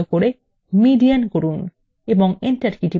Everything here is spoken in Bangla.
এবং enter key টিপুন